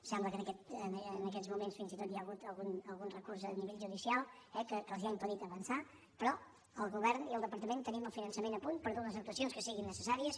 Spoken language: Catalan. sembla que en aquests moments fins i tot hi ha hagut algun recurs a nivell judicial que els ha impe·dit avançar però el govern i el departament tenim el finançament a punt per dur les actuacions que siguin necessàries